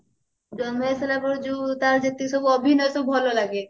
ଜନ୍ମ ହେଇସାରିଲା ପରେ ଯୋଉ ତାର ଯେତିକି ଯୋଉ ସବୁ ଅଭିନୟ ତାର ସବୁ ଭଲ ଲାଗେ